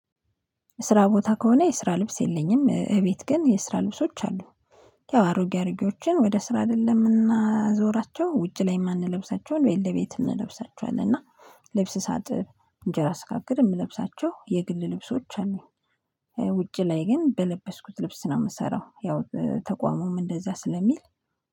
ስራ ቦታ ከሆነ የስራ ልብስ የለኝም እቤት ግን የስራ ልብሶች አሉኝ ያው አሮጌ አሮጌዎችን ወደ ስራ አይደለም የምናዞራቸው ውጭ ላይ የማንለብሳቸውን ቤት ለቤት እንለብሳቸዋለን እና ልብስ ሳጥብ እንጀራ ስጋግር የምለብሳቸው የግል ልብሶች አሉኝ። ውጪ ላይ ግን በለበስኩት ልብስ ነው የምሰራው ያው ተቋሙም እንደዛ ስለሚል